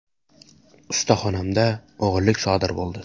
Ustaxonamda o‘g‘irlik sodir bo‘ldi.